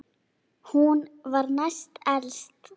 Hún var næst elst.